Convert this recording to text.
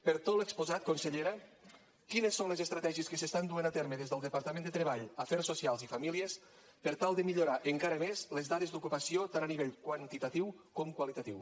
per tot l’exposat consellera quines són les estratègies que s’estan duent a terme des del departament de treball afers socials i famílies per tal de millorar encara més les dades d’ocupació tant a nivell quantitatiu com qualitatiu